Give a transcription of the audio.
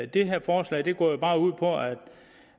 det her forslag går jo bare ud på at